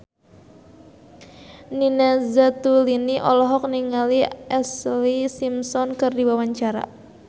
Nina Zatulini olohok ningali Ashlee Simpson keur diwawancara